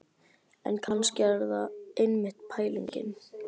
En kannski er það einmitt pælingin.